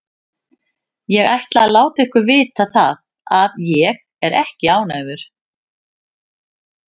Ég ætla að láta ykkur vita það að ÉG er ekki ánægður.